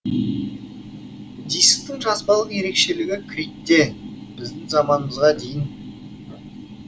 дисктің жазбалық ерекшелігі критте біздің заманымызға дейін